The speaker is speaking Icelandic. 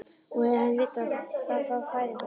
Og hefðum vitað það frá fæðingu þess.